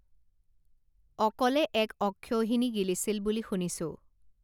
অকলে এক অক্ষৌহিণী গিলিছিল বুলি শুনিছোঁ